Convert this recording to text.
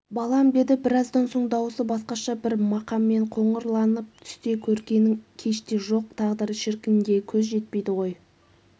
балам деді біраздан соң дауысы басқаша бір мақаммен қоңырланып түсте көргенің кеште жоқ тағдыр шіркінге көз жетпейді ғой